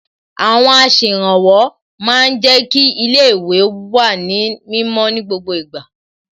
Àwọn aṣèrànwọ́ ma ń jẹ́ kí ilé ìwé wà ní mímọ́ ní ìgbà gbogbo